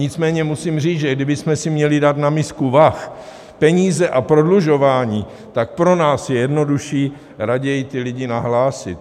Nicméně musím říct, že kdybychom si měli dát na misku vah peníze a prodlužování, tak pro nás je jednodušší raději ty lidi nahlásit.